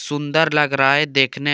सुंदर लग रहा है देखने में।